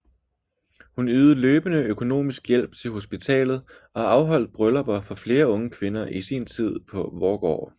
Hun ydede løbende økonomisk hjælp til hospitalet og afholdt bryllupper for flere unge kvinder i sin tid på Voergaard